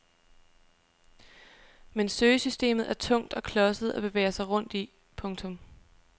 Men søgesystemet er tungt og klodset at bevæge sig rundt i. punktum